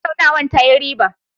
Tattaunawar ta yi riba.